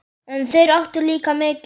En þeir áttu líka mikið.